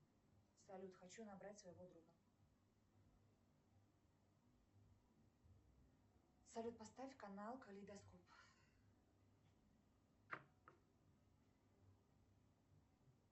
салют хочу набрать своего друга салют поставь канал калейдоскоп